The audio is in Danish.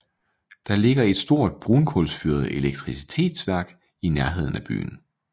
Der ligger et stort brunkulsfyret elektricitetsværk i nærheden af byen